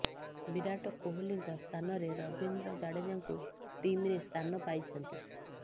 ବିରାଟ କୋହଲିଙ୍କ ସ୍ଥାନରେ ରବିନ୍ଦ୍ର ଜାଡେଜାଙ୍କୁ ଟିମ୍ରେ ସ୍ଥାନ ପାଇଛନ୍ତି